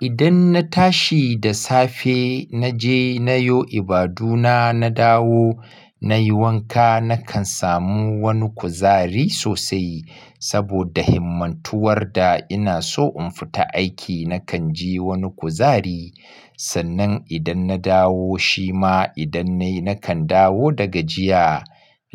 Idan na tashi da safe, na je na yo ibaduna, na dawo na yi wanka, na kan samu wani kuzari sosai saboda himmantuwar da ina so in fita aiki. Na kan ji wani kuzari sannan idan na dawo, shima idan na yi, na kan dawo da gajiya